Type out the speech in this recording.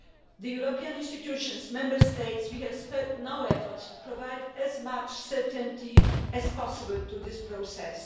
We, the European institutions and the Member States, have spared no efforts to provide as much certainty as possible to this process.